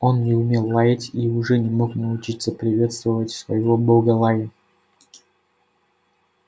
он не умел лаять и уже не мог научиться приветствовать своего бога лаем